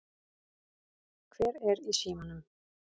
Hver er í símanum?